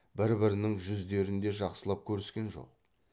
бір бірінің жүздерін де жақсылап көріскен жоқ